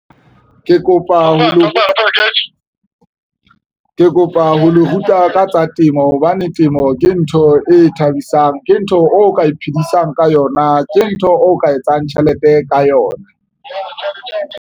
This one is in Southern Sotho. Ke kopa ho le ruta ka tsa temo hobane temo ke ntho e thabisang, ke ntho o ka iphedisang ka yona, ke ntho o ka etsang tjhelete ka yona.